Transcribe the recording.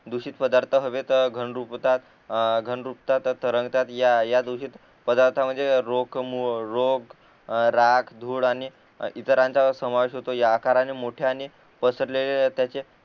दुषित पदार्थ हवेत घनरूप होतात अ घन रूपतात तरंगतात या दुषित पदार्थ म्हणजे रोग रोग राग धूळ आणि इतरांचा समावेश होतो या आकाराने मोठ्याने पसरलेले त्याचे